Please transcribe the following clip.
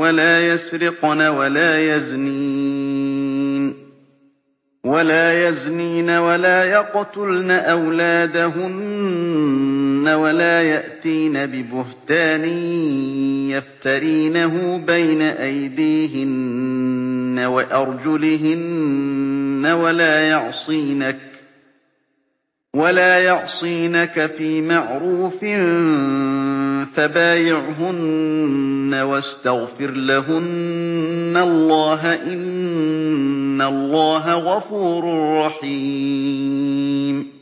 وَلَا يَسْرِقْنَ وَلَا يَزْنِينَ وَلَا يَقْتُلْنَ أَوْلَادَهُنَّ وَلَا يَأْتِينَ بِبُهْتَانٍ يَفْتَرِينَهُ بَيْنَ أَيْدِيهِنَّ وَأَرْجُلِهِنَّ وَلَا يَعْصِينَكَ فِي مَعْرُوفٍ ۙ فَبَايِعْهُنَّ وَاسْتَغْفِرْ لَهُنَّ اللَّهَ ۖ إِنَّ اللَّهَ غَفُورٌ رَّحِيمٌ